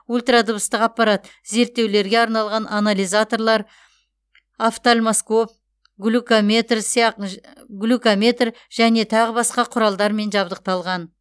ультра дыбыстық аппарат зерттеулерге арналған анализаторлар офтальмоскоп глюкометр және тағы басқа құралдармен жабдықталған